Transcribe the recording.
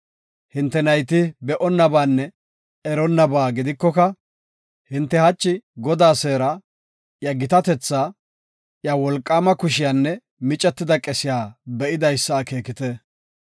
Hinte nayti be7onnabaanne eronnabaa gidikoka, hinte hachi Godaa seera, iya gitatetha, iya wolqaama kushiyanne micetida qesiya be7idaysa akeekite.